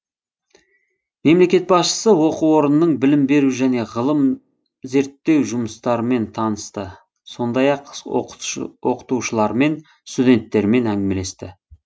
мемлекет басшысы оқу орнының білім беру және ғылым зерттеу жұмыстарымен танысты сондай ақ оқытушылармен студенттермен әңгімелесті